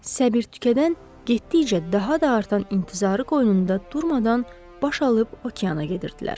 Səbir tükədən, getdikcə daha da artan intizarı qoynunda durmadan baş alıb okeana gedirdilər.